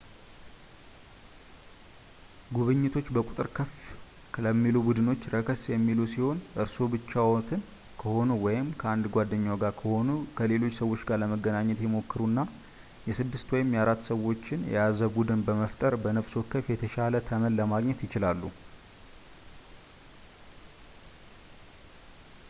ጉብኝቶች በቁጥር ከፍ ለሚሉ ቡድኖች ረከስ የሚሉ ሲሆን እርስዎ ብቻዎትን ከሆኑ ወይም ከአንድ ጓደኛዎ ጋር ከሆኑ ከሌሎች ሰዎች ጋር ለመገናኘት ይሞክሩና የስድስት ወይም የአራት ሰዎችን የያዘ ቡድን በመፍጠር በነብስ ወከፍ የተሻለ ተመን ለማግኘት ይችላሉ